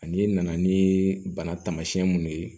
Ani nana ni bana tamasiyɛn mun ye